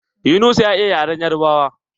Yunusa ya iya yaren yarbawa.